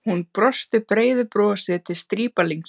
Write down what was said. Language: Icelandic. Hún brosti breiðu brosi til strípalingsins.